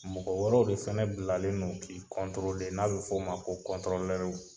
Mɔgɔ wɛrɛw de fana bilalen do k'i n'a bɛ f'o ma ko kɔtɔrɔlɛriw.